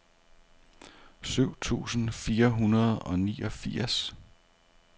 syv tusind fire hundrede og niogfirs